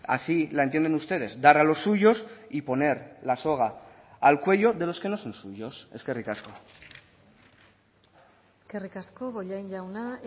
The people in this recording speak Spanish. así la entienden ustedes dar a los suyos y poner la soga al cuello de los que no son suyos eskerrik asko eskerrik asko bollain jauna